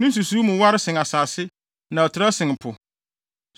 Ne nsusuwii mu ware sen asase na ɛtrɛw sen po.